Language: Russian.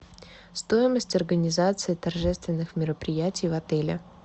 стоимость организации торжественных мероприятий в отеле